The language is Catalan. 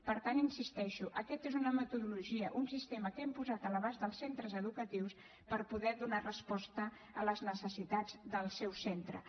per tant hi insisteixo aquesta és una metodologia un sistema que hem posat a l’abast dels centres educatius per poder donar resposta a les necessitats dels seus centres